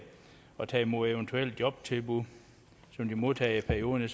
og tage imod eventuelle jobtilbud som man modtager i perioden